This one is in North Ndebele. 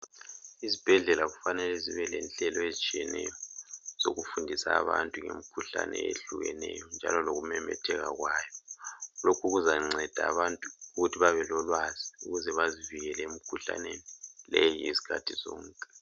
izibhedlela kufanele zibe lenhlelo ezitshiyeneyo zokufundisa abantu ngemikhuhlane ehlukeneyo njalo lokumemetheka kwayo lokhu kuzanceda abantu ukuthi babe lolwazi ukuze bazivikele emkhuhlaneni leyi izikhathi zonke